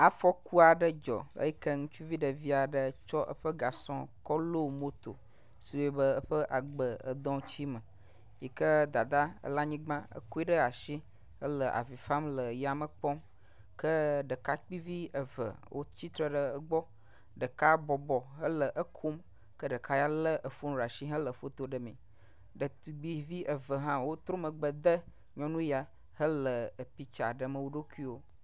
Afɔku aɖe dzɔ eyike ŋutsuvi ɖevi aɖe tsɔ eƒe gasɔ lɔ moto si wɔe be eƒe agbe edɔ tsi me yike dada le anyigba, hekɔe ɖe asi hele avi fam le yame kpɔm. Ke ɖekakpui vi eve wotsitre ɖe egbɔ, ɖeka bɔbɔ hele ekom ke ɖeka ya lé fon ɖe asi hele foto ɖemee. Ɖetugbuivi eve hã wotrɔ megbe de nyɔnu ya hele epiktsa ɖem wo ɖokuiwo.